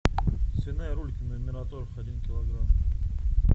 свиная рулька мираторг один килограмм